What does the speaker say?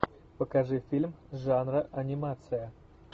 покажи фильм жанра анимация